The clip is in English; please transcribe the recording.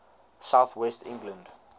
south west england